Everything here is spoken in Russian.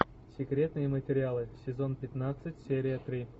секретные материалы сезон пятнадцать серия три